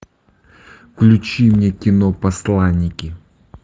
включи мне кино посланники